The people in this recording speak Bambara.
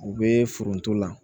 U be foronto la